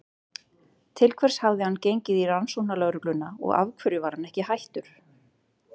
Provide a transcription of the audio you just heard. Til hvers hafði hann gengið í Rannsóknarlögregluna og af hverju var hann ekki hættur?